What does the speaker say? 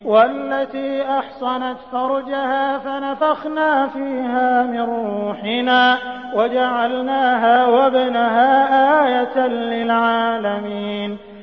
وَالَّتِي أَحْصَنَتْ فَرْجَهَا فَنَفَخْنَا فِيهَا مِن رُّوحِنَا وَجَعَلْنَاهَا وَابْنَهَا آيَةً لِّلْعَالَمِينَ